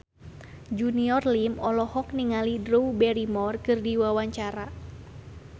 Junior Liem olohok ningali Drew Barrymore keur diwawancara